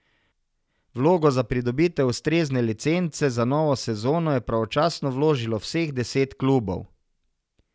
Vlogo za pridobitev ustrezne licence za novo sezono je pravočasno vložilo vseh deset klubov.